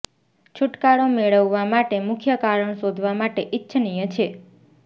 છૂટકારો મેળવવા માટે મુખ્ય કારણ શોધવા માટે ઇચ્છનીય છે